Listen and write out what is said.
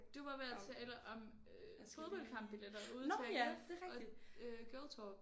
Du var ved at tale om øh fodboldkampe da der var udtagning ik og øh girltalk